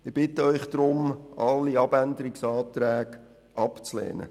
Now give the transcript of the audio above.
Ich bitte Sie darum, alle Abänderungsanträge abzulehnen.